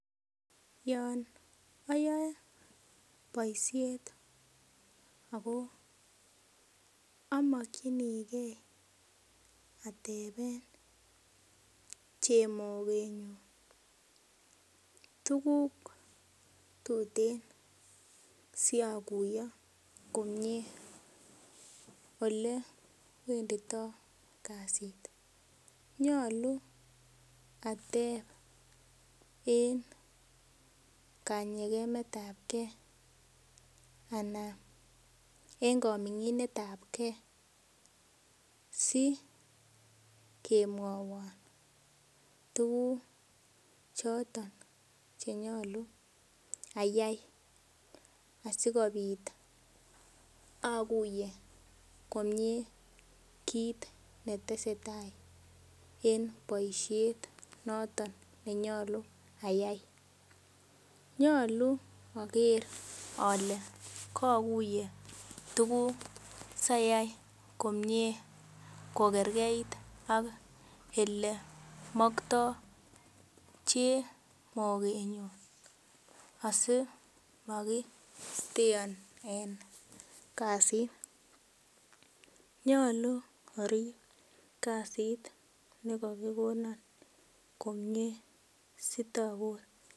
Yon oyoe boishet ako omokchinigee ateben chemokenyu tuguk tuten siokuyo komie olewendito kazit nyolu atep en kanyekemetab kee anan en komonginetab kee sikemwowon tuguk chotok chenyolu ayai asikobit okuye komie kit netesetai en boishet noton nenyolu ayai nyolu oker ole kokuye tuguk sayai komie kokerkeit ok ole mokto chemokenyun asimokisteon en kasit nyolu orib kasit nekokikon komie sitobur.